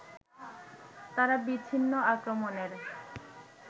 তারা বিচ্ছিন্ন আক্রমণের